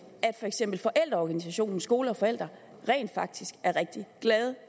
at for eksempel forældreorganisationen skole og forældre rent faktisk er rigtig glade